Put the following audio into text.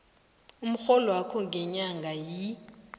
umrholwakho ngenyanga yi